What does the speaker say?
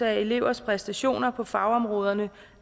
af elevernes præstationer på fagområderne